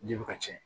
Ji bɛ ka ci